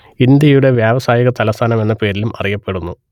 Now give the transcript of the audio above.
ഇന്ത്യയുടെ വ്യാവസായിക തലസ്ഥാനം എന്ന പേരിലും അറിയപ്പെടുന്നു